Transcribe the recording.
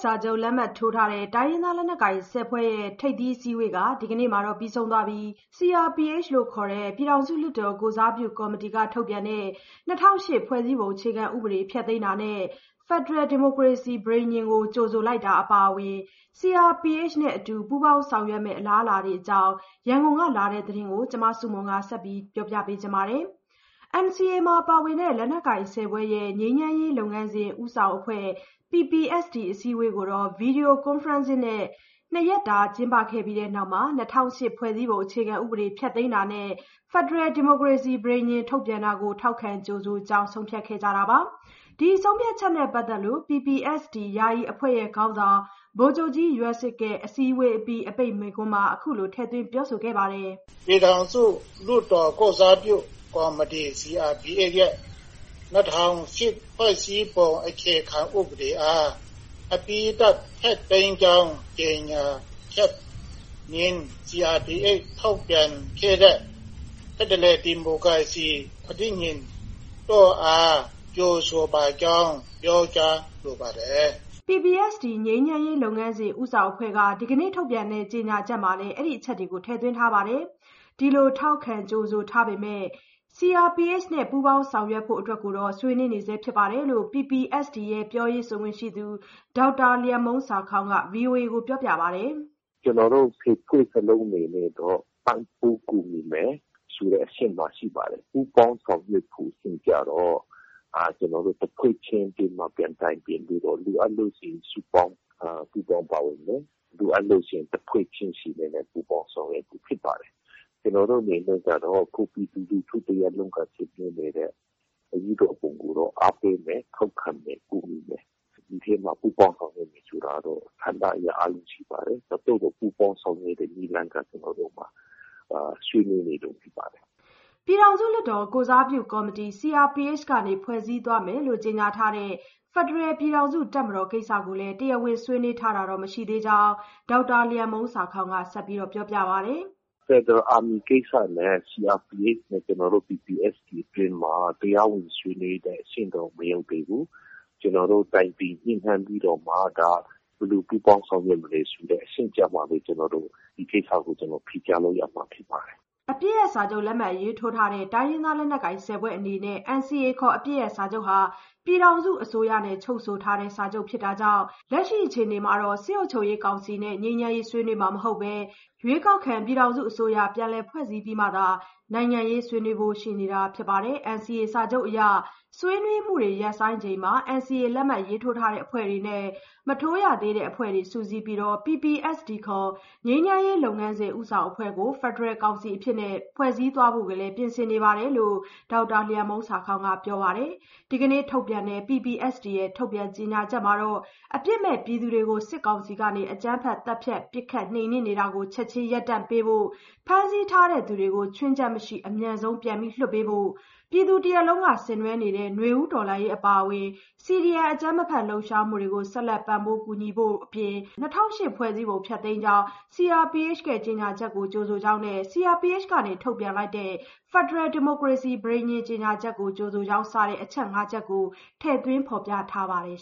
စာချုပ်လက်မှတ်ထိုး တိုင်းရင်းသားလက်နက်ကိုင် ၁၀ ဖွဲ့ရဲ့ ထိပ်သီးအစည်းအဝေးဟာ ဒီကနေ့ ပြီးဆုံးခဲ့ပြီး CRPH ခေါ် ပြည်ထောင်စုလွှတ်တော် ကိုယ်စားပြုကော်မတီက ထုတ်ပြန်တဲ့ ၂၀၀၈ ဖွဲ့စည်းပုံ ဖျက်သိမ်းတာနဲ့ ဖက်ဒရယ်ဒီမိုကရေစီ ပဋိညာဉ်ကို ကြိုဆိုလိုက်တာအပြင် CRPH နဲ့ ပူးပေါင်းဆောင်ရွက်မယ့် အလားအလာတွေအကြောင်း ရန်ကုန်ကလာတဲ့ သတင်းကို မဆုမွန် တင်ပြပေးထားပါတယ်။ NCA မှာ ပါဝင်တဲ့ လက်နက်ကိုင် ၁၀ ဖွဲ့ရဲ့ ငြိမ်းချမ်းရေးလုပ်ငန်းစဉ် ဦးဆောင်အဖွဲ့ PPST အစည်းအဝေးကို Video Conferencing နဲ့ ၂ ရက်ကြာ ကျင်းပပြီးတဲ့နောက်မှာ ၂၀၀၈ ဖွဲ့စည်းပုံ ဖျက်သိမ်းတာနဲ့ ဖက်ဒရယ်ဒီမိုကရေစီ ပဋိညာဉ် ထုတ်ပြန်တာကို ထောက်ခံကြိုဆိုကြောင်း ဆုံးဖြတ်ခဲ့တာပါ။ ဒီဆုံးဖြတ်ချက်နဲ့ပတ်သက်ပြီး PPST ယာယီအဖွဲ့ခေါင်းဆောင် ဗိုလ်ချုပ်ကြီးယွက်စစ်ရဲ့ အစည်းအဝေးအပြီး အပိတ်မိန့်ခွန်းမှာ အခုလို ထည့်သွင်း ပြောဆိုထားပါတယ်။ “ပြည်ထောင်စုလွှတ်တော် ကိုယ်စားပြုကော်မတီ CRPH ရဲ့ ၂၀၀၈ ဖွဲ့စည်းပုံအခြေခံဥပဒေအား အပြီးသတ် ဖျက်သိမ်းကြောင်း ကြေညာချက်နှင့် CRPH ထုတ်ပြန်ခဲ့တဲ့ ဖက်ဒရယ်ဒီမိုကရေစီ ပဋိညာဉ်တို့အား ကြိုဆိုပါကြောင်း ပြောကြားလိုပါတယ်။” PPST ငြိမ်းချမ်းရေးလုပ်ငန်းစဉ် ဦးဆောင်အဖွဲ့က ဒီနေ့ထုတ်ပြန်တဲ့ ကြေညာချက်မှာလည်း ဒီအချက်တွေကို ထည့်သွင်းထားပါတယ်။ ဒီလို ထောက်ခံကြိုဆိုထားပေမယ့် CRPH နဲ့ ပူးပေါင်းဆောင်ရွက်ဖို့ အတွက်ကတော့ ဆွေးနွေးနေဆဲရှိကြောင်း PPST ရဲ့ ပြောရေးဆိုခွင့်ရှိသူ ဒေါက်တာ လျန်မှုန်းဆာခေါင်းက ဗွီအိုအေကို ပြောပါတယ်။ “ကျနော်တို့ ၁၀ ဖွဲ့လုံး အနေနဲ့တော့ ပံ့ပိုးကူညီမယ်ဆိုတဲ့ အဆင့်မှာ ရှိပါတယ်။ ပူးပေါင်းဆောင်ရွက်ဖို့ အဆင့်ကြတော့ ကျနော်တို့ တဖွဲ့ချင်းအတွင်းမှာ ပြန်တိုင်ပင်ပြီးတော့ လိုအပ်လို့ရှိရင် စုပေါင်း ပူးပေါင်းပါဝင်မယ်။ လိုအပ်လို့ရှိရင် တဖွဲ့ချင်းအနေနဲ့လည်း ပူးပေါင်းဆောင်ရွက်ဖို့ ဖြစ်ပါတယ်။ ကျနော်တို့ အနေနဲ့ကတော့ အခု ပြည်သူလူထု တရပ်လုံးက ဆင်နွှဲနေတာကို အားပေးမယ်၊ ထောက်ခံမယ်၊ ကူညီမယ်။ ဒီထဲမှာ ပူးပေါင်းဆောင်ရွက်မယ် ဆိုတာကတော့ ကဏ္ဍအရ အများကြီးရှိပါတယ်။ သို့သော် ပူးပေါင်းဆောင်ရွက်တဲ့ နည်းလမ်းကတော့ ကျနော်တို့မှာ ဆွေးနွေးနေတုန်း ဖြစ်ပါတယ်။” ပြည်ထောင်စုလွှတ်တော် ကိုယ်စားပြုကော်မတီ (CRPH) က ဖွဲ့စည်းသွားမယ်လို့ ကြေညာထားတဲ့ ဖက်ဒရယ်ပြည်ထောင်စုတပ်မတော် ကိစ္စကိုလည်း တရားဝင်ဆွေးနွေးထားတာ မရှိသေးကြောင်း ဒေါက်တာ လျန်မှုန်းဆာခေါင်းက ဆက်ပြောပါတယ်။ “ဖက်ဒရယ်အာမီကိစ္စနဲ့ CRPH နဲ့ ကျနော်တို့ PPST အတွင်းမှာ တရားဝင်ဆွေးနွေးတဲ့ အဆင့်တောင် မရောက်သေးဘူး။ ကျနော်တို့ တိုင်ပင်ညှိနှိုင်းပြီးတော့မှ ဒါ ဘယ်လိုပူးပေါင်းဆောင်ရွက်မလဲဆိုတဲ့ အဆင့်ကျမှပဲ ကျနော် ဒီကိစ္စကို ဖြေကြားလို့ရမှာ ဖြစ်ပါတယ်။” တိုင်းရင်းသားလက်နက်ကိုင် ၁၀ ဖွဲ့အနေနဲ့ NCA ခေါ် အပစ်ရပ်စာချုပ်ဟာ ပြည်ထောင်စုအစိုးရနဲ့ ချုပ်ဆိုတဲ့ စာချုပ်ဖြစ်တာကြောင့် လက်ရှိအခြေအနေမှာ စစ်ကောင်စီနဲ့ နိုင်ငံရေးဆွေးနွေးမှာ မဟုတ်ဘဲ ရွေးကောက်ခံ ပြည်ထောင်စုအစိုးရ ပြန်လည်ဖွဲ့စည်းပြီးမှသာ နိုင်ငံရေးဆွေးနွေးဖို့ ရှိနေတာ ဖြစ်ပါတယ်။ NCA စာချုပ်အရ ဆွေးနွေးမှုတွေ ရပ်ဆိုင်းချိန်မှာ NCA လက်မှတ်ရေးထိုးတဲ့ အဖွဲ့တွေနဲ့ မထိုးသေးတဲ့အဖွဲ့တွေ စုစည်းပြီး PPST ခေါ် ငြိမ်းချမ်းရေးလုပ်ငန်းစဉ် ဦးဆောင်အဖွဲ့ကို ဖက်ဒရယ်ကောင်စီအဖြစ် ဖွဲ့စည်းသွားဖို့လည်း ပြင်ဆင်နေကြောင်း ဒေါက်တာ လျန်မှုန်းဆာခေါင်းက ပြောပါတယ်။ ဒီကနေ့ထုတ်ပြန်တဲ့ PPST ရဲ့ ကြေညာချက်မှာ အပြစ်မဲ့ပြည်သူတွေကို စစ်ကောင်စီက အကြမ်းဖက်သတ်ဖြတ် ပစ်ခတ်နှိမ်နင်းမှုကို ချက်ချင်းရပ်တန့်ဖို့၊ ဖမ်းဆီးထားသူတွေကို ခြွင်းချက်မရှိ အမြန်ဆုံးလွှတ်ပေးဖို့၊ ပြည်သူလူထု တရပ်လုံးက ဆင်နွှဲနေတဲ့ နွေဦးတော်လှန်ရေး အပါအဝင် CDM လှုပ်ရှားမှုများကို ဆက်လက်ပံ့ပိုး ကူညီဖို့တို့အပြင် ၂၀၀၈ ဖွဲ့စည်းပုံ ဖျက်သိမ်းကြောင်း CRPH ရဲ့ ကြေညာချက်ကို ကြိုဆိုကြောင်းနဲ့ CRPH က ထုတ်လိုက်တဲ့ ဖက်ဒရယ်ဒီမိုကရေစီ ပဋိညာဉ် ကြေညာချက်ကို ကြိုဆိုကြောင်း စတဲ့ အချက် ၅ ချက်ကို ထည့်သွင်း ဖော်ပြထားပါတယ်